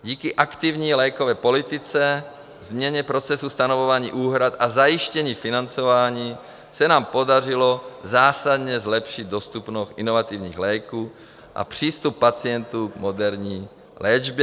Díky aktivní lékové politice, změně procesu stanovování úhrad a zajištění financování se nám podařilo zásadně zlepšit dostupnost inovativních léků a přístup pacientů k moderní léčbě.